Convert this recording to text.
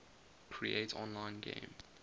create online game